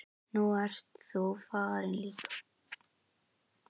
Nú ert þú farin líka.